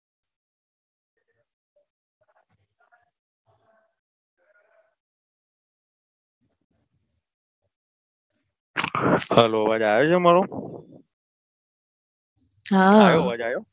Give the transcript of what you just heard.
હાલો અવાજ આવે છે મારો હા આયો અવાજ